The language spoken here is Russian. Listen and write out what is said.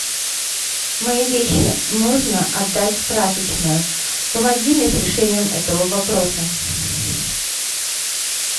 мои вещи нужно отдать в прачечную помоги мне с решением этого вопроса